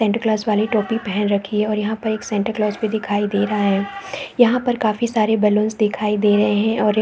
Santa Claus वाली टोपी पहन रखी है और यहाँ पर एक सेंटाक्लॉस भी दिखे दे रहा है यहाँ पर काफी सारे बलून्स दिखाई दे रहे है और एक--